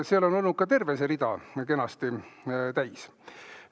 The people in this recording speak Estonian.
Seal on olnud ka terve see rida kenasti täis.